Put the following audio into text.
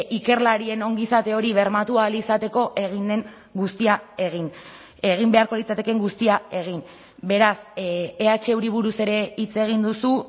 ikerlarien ongizate hori bermatu ahal izateko egin den guztia egin egin beharko litzatekeen guztia egin beraz ehuri buruz ere hitz egin duzu